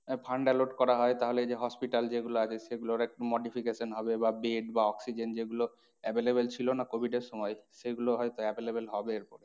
আহ fund alert করা হয় তাহলে যে hospital যেইগুলো আছে সেগুলোর একটু modification হবে বা bed বা oxygen যে গুলো available ছিল না covid এর সময় সেগুলো হয় তো available হবে এরপরে।